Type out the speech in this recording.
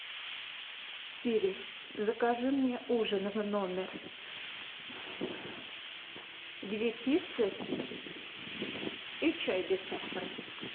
сири закажи мне ужин в номер две пиццы и чай без сахара